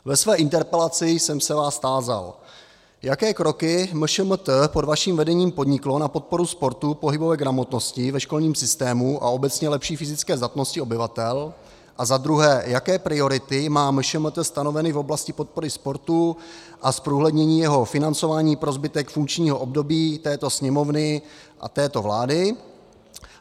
Ve své interpelaci jsem se vás tázal, jaké kroky MŠMT pod vaším vedením podniklo na podporu sportu, pohybové gramotnosti ve školním systému a obecně lepší fyzické zdatnosti obyvatel, a za druhé, jaké priority má MŠMT stanoveny v oblasti podpory sportu a zprůhlednění jeho financování pro zbytek funkčního období této Sněmovny a této vlády.